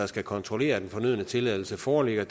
skal kontrollere at den fornødne tilladelse foreligger